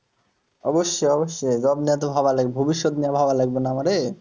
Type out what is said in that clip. অবশ্যই অবশ্যই job নিয়ে তো ভাবা লাগবে ভবিষ্যৎ নিয়ে ভাবা লাগবে না আমাদের